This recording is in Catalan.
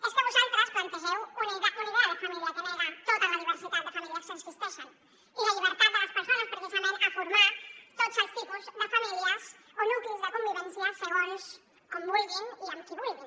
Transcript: és que vosaltres plantegeu una idea de família que nega tota la diversitat de famílies que existeixen i la llibertat de les persones precisament per formar tots els tipus de famílies o nuclis de convivència segons com vulguin i amb qui vulguin